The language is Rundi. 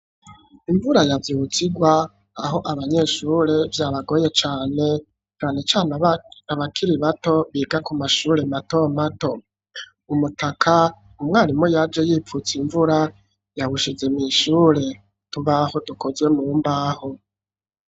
Imvura yavyutse irwa aho abanyeshure vyabagoye cane canecane abana bakiri bato biga ku mashure mato mato, umutaka umwarimu yaje yipfutse imvura yawushize mwishure utubaho dukozwe mu mbaho.